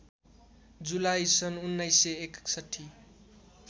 जुलाई सन् १९६१